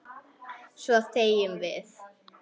Svo þegjum við.